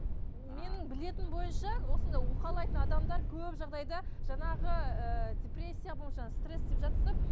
менің білетінім бойынша осындай уқалайтын адамдар көп жағдайда жаңағы ы депрессия болса стресс деп жатырсыздар